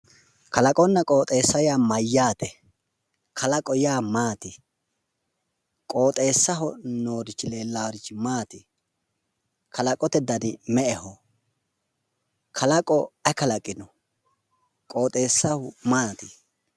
kalaqonna qooxeessa yaa mayyaate? kalaqo yaa maati? qooxeessaho noorichi leellaarichi maati? kalaqote dani me'eho? kalaqo ayi kalaqino? qooxeessaho maati?